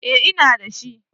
Eh ina da shi.